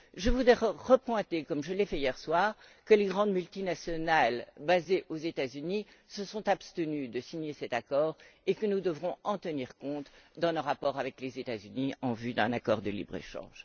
Je voudrais souligner une nouvelle fois, comme je l'ai fait hier soir, que les grandes multinationales basées aux États Unis se sont abstenues de signer cet accord et que nous devrons en tenir compte dans nos rapports avec les États Unis en vue d'un accord de libre échange.